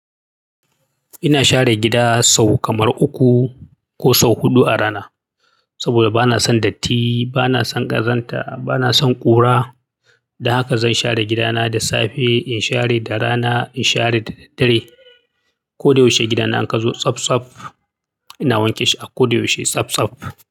Ina share gida sau kamar uku ko sau huɗu a rana. Saboda bana son datti, bana son ƙazanta, bana son ƙura. Don haka zan share gidana da safe, in share da rana, in share da daddare. Ko da yaushe gidana in ka zo tsafsaf. Ina wanke shi a ko da yaushe tsaf tsaf.